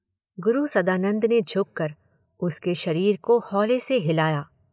गुरु सदानंद ने झुककर उसके शरीर को हौले से हिलाया।